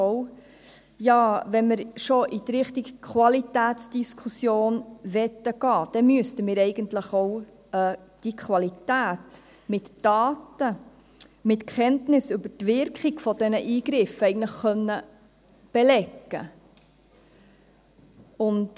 Wenn man schon in Richtung Qualitätsdiskussion gehen will, müsste man eigentlich auch diese Qualität mit Daten, mit Kenntnis über die Wirkung dieser Eingriffe, belegen können.